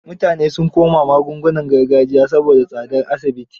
Mutanen sun koma magaungunan gargajiya saboda tsadar asibit.